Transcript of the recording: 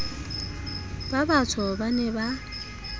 ba batsho ba ne ba